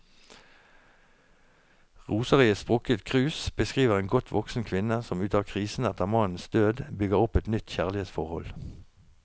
Roser i et sprukket krus beskriver en godt voksen kvinne som ut av krisen etter mannens død, bygger opp et nytt kjærlighetsforhold.